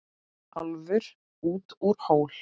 Álfur út úr hól.